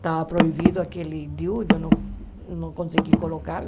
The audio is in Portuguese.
Estava proibido aquele diu, eu não eu não consegui colocá-lo.